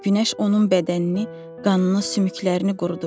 Günəş onun bədənini, qanını, sümüklərini qurudub.